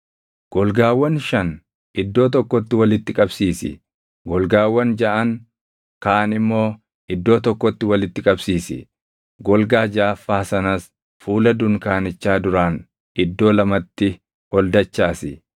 Golgaawwan shan iddoo tokkotti walitti qabsiisi; golgaawwan jaʼan kaan immoo iddoo tokkotti walitti qabsiisi; golgaa jaʼaffaa sanas fuula dunkaanichaa duraan iddoo lamatti ol dachaasi.